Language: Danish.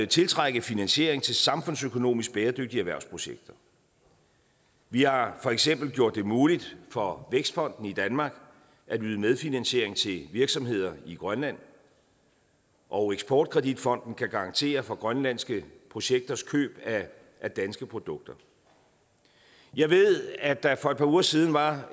tiltrække finansiering til samfundsøkonomisk bæredygtige erhvervsprojekter vi har for eksempel gjort det muligt for vækstfonden i danmark at yde medfinansiering til virksomheder i grønland og eksport kredit fonden kan garantere for grønlandske projekters køb af danske produkter jeg ved at der for et par uger siden var